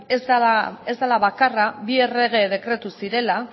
ez dela bakarra bi errege dekretu zirela